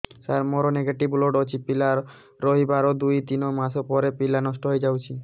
ସାର ମୋର negative blood ଅଛି ପିଲା ରହିବାର ଦୁଇ ତିନି ମାସ ପରେ ପିଲା ନଷ୍ଟ ହେଇ ଯାଉଛି